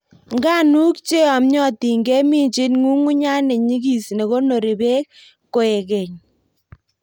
Nganuk cheyonmyotin keminjin ng'ung'unyat nenyigis nekonori beek kokoekei.